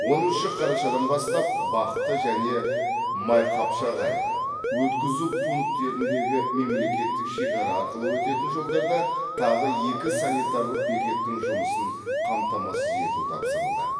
оныншы қарашадан бастап бақты және майқапшағай өткізу пункттеріндегі мемлекеттік шекара арқылы өтетін жолдарда тағы екі санитарлық бекеттің жұмысын қамтамасыз ету тапсырылды